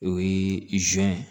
O ye